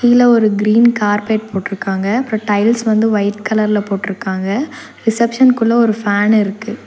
உள்ள ஒரு green carpet போட்ருக்காங்க அப்றோ டைல்ஸ் வந்து ஒய்ட் கலர்ல போட்ருக்காங்க ரிசப்ஷன்குள்ள ஒரு ஃபேன் இருக்கு.